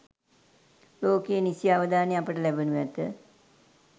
ලෝකයේ නිසි අවධානය අපට ලැබෙනු ඇත.